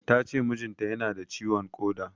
Tace mijin ta yana da ciwon ƙoda